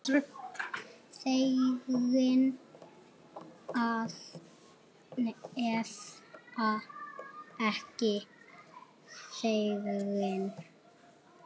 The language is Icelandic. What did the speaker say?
Þegin eða ekki þegin.